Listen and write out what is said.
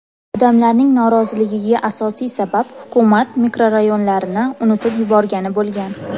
Odamlarning noroziligiga asosiy sabab hukumat mikrorayonlarni unutib yuborgani bo‘lgan.